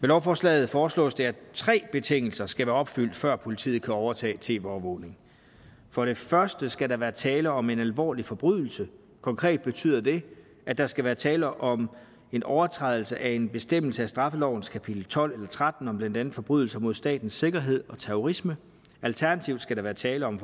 lovforslaget foreslås det at tre betingelser skal være opfyldt før politiet kan overtage tv overvågning for det første skal der være tale om en alvorlig forbrydelse konkret betyder det at der skal være tale om en overtrædelse af en bestemmelse af straffelovens kapitel tolv eller tretten om blandt andet forbrydelser mod statens sikkerhed og terrorisme alternativt skal der være tale om